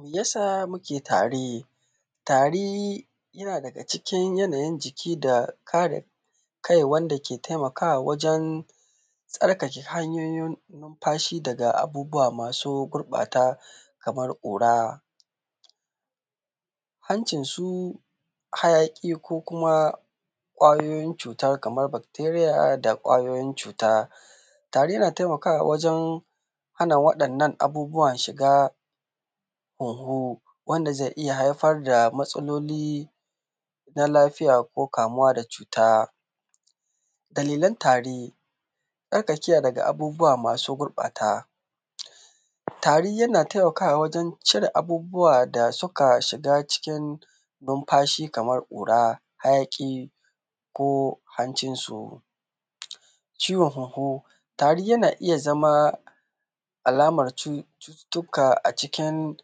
me ya sa muke tari tari yana daga cikin yanayin jiki da kare kai wanda ke taimakawa wajan tsarkake hanyoyin numfashi daga abubuwan masu gurɓata kamar ƙura hanci su hayaƙi ko kuma ƙwayoyin cuta kamar bacteria da ƙwayoyin cuta tari na taimakawa wajan hana waɗannan abubuwan shiga hunhu wanda zai iya haifar da matsaloli na lafiya ko kamuwa da cuta dalilan tari tsarkake wa daga abubuwan masu gurɓata tari yana taimakawa wajan cire abubuwa da suka shiga cikin numfashi kamar ƙura hayaƙi ko hancin su ciwon hunhu tari yana iya zama alamar cututtuka a cikin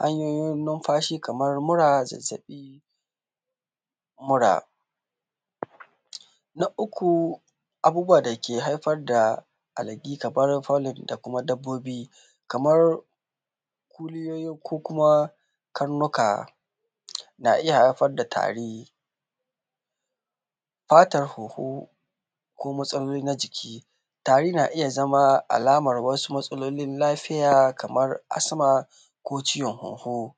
hanyoyin numfashi kamar mura zazzaɓin mura na uku abubuwa da ke haifar da algea kamar folit da kuma dabbobi kamar kuliyoyi ko kuma karnuka na iya haifar da tari fatar huhu ko matsaloli na jiki tari na iya zama alamar wasu matsalolin lafiya kamar asma ko ciwon huhu